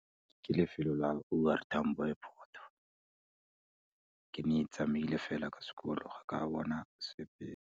Ke lefelo la O R Tambo Airport, ke ne tsamaile fela ka sekolo, ga ka bona sepe.